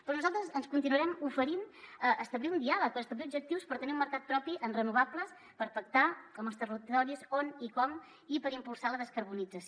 però nosaltres ens continuarem oferint a establir un diàleg per establir objectius per tenir un mercat propi en renovables per pactar amb els territoris on i com i per impulsar la descarbonització